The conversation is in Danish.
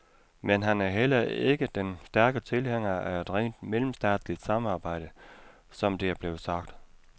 Men han er heller ikke den stærke tilhænger af et rent mellemstatsligt samarbejde, som det er blevet sagt.